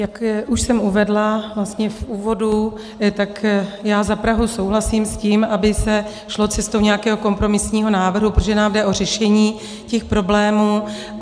Jak už jsem uvedla vlastně v úvodu, tak já za Prahu souhlasím s tím, aby se šlo cestou nějakého kompromisního návrhu, protože nám jde o řešení těch problémů.